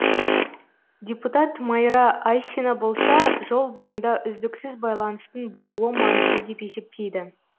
депутат майра айсина болса жол бойында үздіксіз байланыстың болуы маңызды деп есептейді